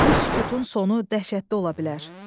Bu sükutun sonu dəhşətli ola bilər.